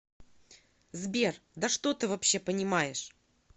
сбер да что ты вообще понимаешь